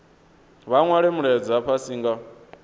vha nwale mulaedza fhasi nga